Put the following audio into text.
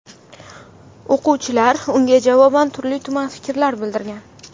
O‘quvchilar unga javoban turli-tuman fikrlar bildirgan.